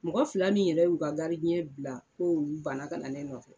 Mɔgɔ fila min yɛrɛ y'u ka bila k'olu banna ka na ne nɔfɛ.